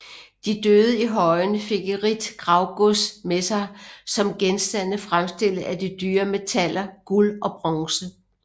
De døde i højene fik et rigt gravgods med sig som genstande fremstillet af de dyre metaller guld og bronze